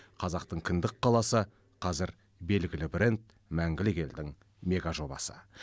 қазақтың кіндік қаласы қазір белгілі бренд мәңгілік елдің мегажобасы